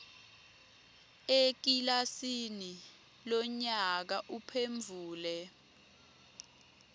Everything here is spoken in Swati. ekilasini lonyaka uphendvule